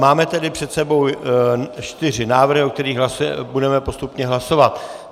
Máme tedy před sebou čtyři návrhy, o kterých budeme postupně hlasovat.